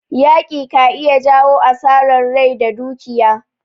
Yaƙi ka iya jawo asarar rai da dukiya.